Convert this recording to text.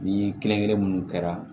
Ni kelen kelen minnu kɛra